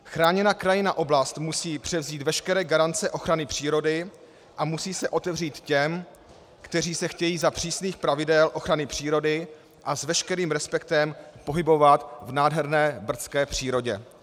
Chráněná krajinná oblast musí převzít veškeré garance ochrany přírody a musí se otevřít těm, kteří se chtějí za přísných pravidel ochrany přírody a s veškerým respektem pohybovat v nádherné brdské přírodě.